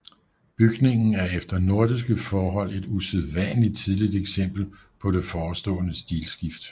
Bygningen er efter nordiske forhold et usædvanligt tidligt eksempel på det forestående stilskift